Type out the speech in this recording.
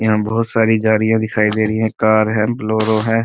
यहाँ बहुत सारी गाडियां दिखाई दे रही है कार है बोलेरो है --